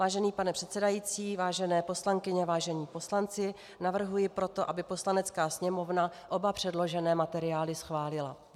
Vážený pane předsedající, vážené poslankyně, vážení poslanci, navrhuji proto, aby Poslanecká sněmovna oba předložené materiály schválila.